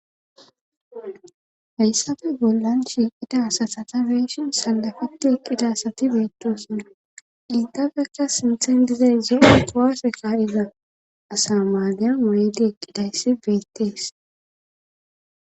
Hayssafe bollan shiiqida asatata beeshin salafeti eqqidasati beettoosonna iltafekka sinthen dizeyze e tuwase kaariza asa maadyan mureedi eqqidayssi beettees